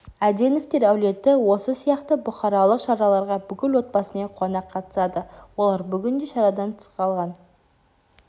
әденовтер әулеті осы сияқты бұқаралық шараларға бүкіл отбасымен қуана қатысады олар бүгін де шарадан тыс қалған